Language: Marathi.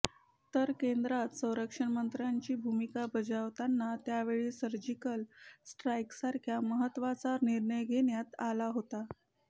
तर केंद्रात संरक्षणमंत्र्यांची भुमिका बजावताना त्यावेळी सर्जिकल स्ट्राईकसारखा महत्वाचा निर्णय घेण्यात आला होता